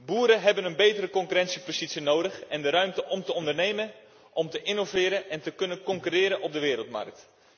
Boeren hebben een betere concurrentiepositie nodig en de ruimte om te ondernemen, te innoveren en te kunnen concurreren op de wereldmarkt.